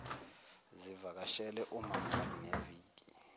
sivakashele umamami ngeviki